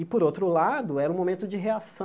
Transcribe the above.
E, por outro lado, era um momento de reação